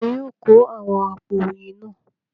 Ta ni yóò kó àwọn àpò oyin náà?